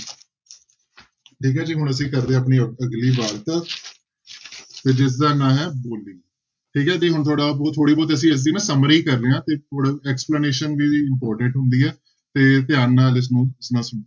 ਠੀਕ ਹੈ ਜੀ ਹੁਣ ਅਸੀਂ ਕਰ ਰਹੇ ਆਪਣੀ ਅ~ ਅਗਲੀ ਵਾਰਤਕ ਤੇ ਜਿਸਦਾ ਨਾਂ ਹੈ ਬੋਲੀ, ਠੀਕ ਹੈ ਜੀ ਹੁਣ ਥੋੜ੍ਹਾ ਬਹੁ~ ਥੋੜ੍ਹੀ ਬਹੁਤ ਅਸੀਂ ਇਸਦੀ ਨਾ summary ਕਰ ਰਹੇ ਹਾਂਂ ਤੇ ਪੂਰਾ explanation ਵੀ important ਹੁੰਦੀ ਆ ਤੇ ਧਿਆਨ ਨਾਲ ਇਸਨੂੰ